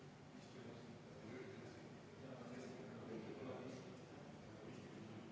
Soovime ettepanekut hääletada ja palun enne hääletust 10‑minutilist vaheaega.